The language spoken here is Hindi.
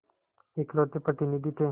इकलौते प्रतिनिधि थे